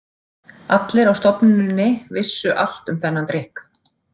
Allir á stofnuninni vissu allt um þennan drykk.